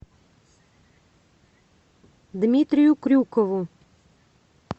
дмитрию крюкову